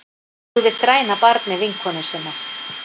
Hugðist ræna barni vinkonu sinnar